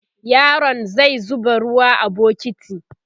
yaron zai zuba ruwa a bukiti